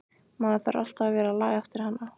Maður þarf alltaf að vera að laga eftir hana.